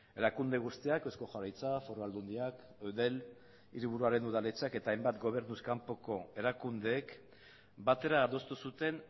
erakunde guztiak eusko jaurlaritza foru aldundiak eudel hiriburuen udaletxeak eta hainbat gobernuz kanpoko erakundeek batera adostu zuten